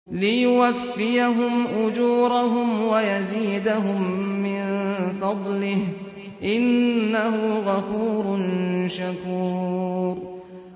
لِيُوَفِّيَهُمْ أُجُورَهُمْ وَيَزِيدَهُم مِّن فَضْلِهِ ۚ إِنَّهُ غَفُورٌ شَكُورٌ